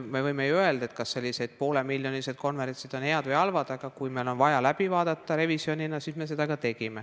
Me võime ju küsida, kas sellised poolemiljonilised konverentsid on head või halvad, aga kui meil oli vaja teha revisjon, siis seda me ka tegime.